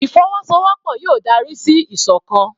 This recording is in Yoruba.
Ìfọwọ́sowọ́pọ̀ yóò dárí sí ìsọ̀kan.